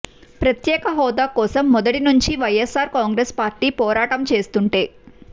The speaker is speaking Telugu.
ప్రత్యేక హోదా కోసం మొదటనుంచీ వైఎస్సార్ కాంగ్రెస్ పార్టీ పోరాటం చేస్తుంటే